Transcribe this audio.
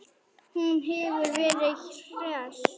Hún hefur verið hress?